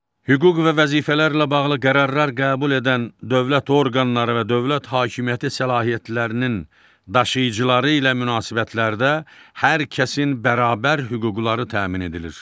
Hüquq və vəzifələrlə bağlı qərarlar qəbul edən dövlət orqanları və dövlət hakimiyyəti səlahiyyətlərinin daşıyıcıları ilə münasibətlərdə hər kəsin bərabər hüquqları təmin edilir.